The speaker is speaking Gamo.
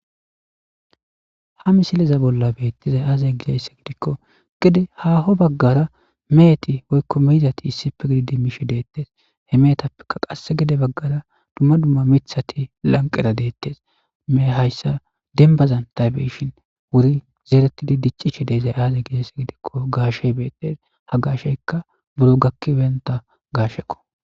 ha misileza bolla beettizay aaze gizaysse gidikko gede haho baggara meheti woykko meyzati issife gididi bishe deettes he meetappeka qasse gede baggara dumma dumma mithati lanqera deettes mehe hayssa denbazan ta beyishin wuri zeeretidi diccishi deezay aaze gizaysse gidikko gaashey beetes ha gasheykka buro gakkibenta gaashekko.